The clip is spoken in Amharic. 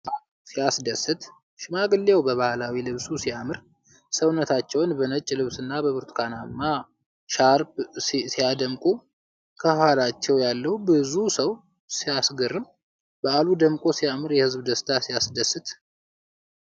ዋው! ሲያስደስት! ሽማግሌው በባህላዊ ልብሱ ሲያምር! ሰውነታቸውን በነጭ ልብስና በብርቱካናማ ሻርፕ ሲያደምቁ! ከኋላው ያለው ብዙ ሰው ሲያስገርም! በዓሉ ደምቆ ሲያምር! የሕዝቡ ደስታ ሲያስደስት!